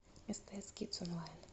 стс кидс онлайн